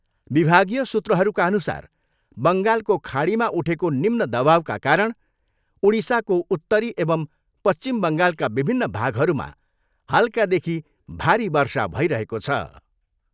विभागीय सूत्रहरूका अनुसार बङ्गालको खाडीमा उठेको निम्न दवाउका कारण उडिसाको उत्तरी एवं पश्चिम बङ्गालका विभिन्न भागहरूमा हल्कादेखि भारी वर्षा भइरहेको छ।